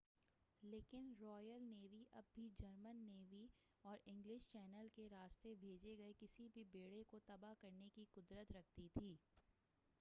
لیکن Royal Navy اب بھی جرمن نیوی ”کرائگس میرین اور انگلش چینل کے راستے بھیجے گئے کسی بھی بیڑے کو تباہ کرنے کی قدرت رکھتی تھی۔